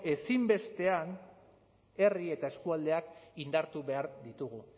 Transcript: ezinbestean herri eta eskualdeak indartu behar ditugu